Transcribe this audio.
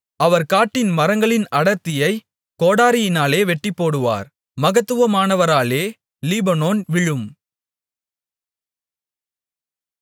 அவர் காட்டின் மரங்களின் அடர்த்தியைக் கோடரியினாலே வெட்டிப்போடுவார் மகத்துவமானவராலே லீபனோன் விழும்